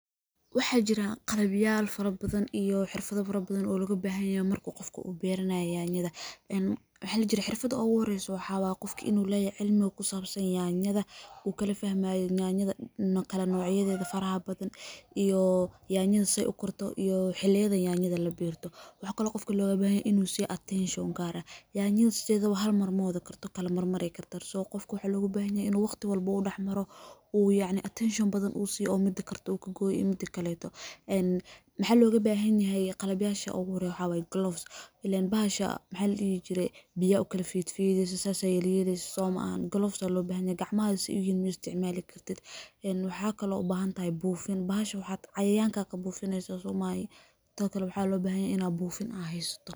Waxa jira qarabyahal farabadan iyo xirfado farabadan oo laga baahninayo marka qofku u beerinaya yaanyada. En maxay jireen xirfadoodu oo waraysan, waxaa waa qofki inuu leeyahay cilmi ku saabsan yaanyada, uu kala fehmayaa yaanyada, kala nuucyadeeda farxaha badan iyo yaanyada say u karto iyo xillihiya yaanyada la beerto. Waxaa kaloo qofkii laga yimaado inuu si attention kara, yaanyada sidayda waan mar moodo karto kala mar maree kartaa. So qofku waa laga yimaadya inuu waqti walbo u dhexeymaro uu yaacni attention badan uu siiyay mid karta uu ka gooyi midka lahayd. En maxaa laga baahan yahay qarabashu u guuray waxaa waay gloves. Ileen baasha maxay u yihiin jirey biya kala fiid fiidiis asal sayliyeed ees osoomaan. gloves laobanaya gacmaadas iyay iyo miista maali kartid. En waxaa kaloo u baahan taay buufin. Baasha waxaad cayaanka ka buufineysas uma hay to kalo waxaa loo baahanay in ay buufin ahaysto.